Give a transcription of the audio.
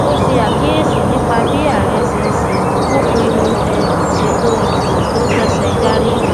ó ṣe àkíyèsí nípa bí ààrẹ ṣe ń ṣe ó pinnu um ṣètò ìdìbò tó kẹsẹ járí